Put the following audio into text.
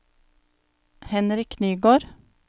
Henrik Nygård